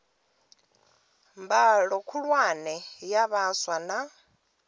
mbalo khulwane ya vhaswa na